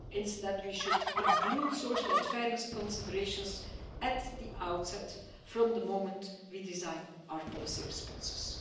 Instead, we should include social and fairness considerations at the outset from the moment we design our policy responses.